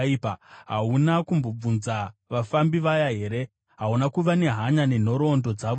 Hauna kumbobvunza vafambi vaya here? Hauna kuva nehanya nenhoroondo dzavo here,